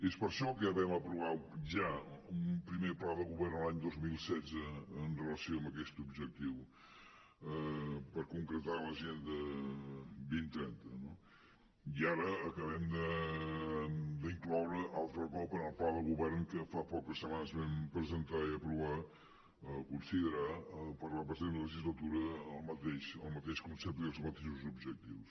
és per això que vam aprovar ja un primer pla de govern l’any dos mil setze en relació amb aquest objectiu per concretar l’agenda dos mil trenta no i ara acabem d’incloure altre cop en el pla de govern que fa poques setmanes vam presentar i aprovar considerar per la present legislatura el mateix concepte i els mateixos objectius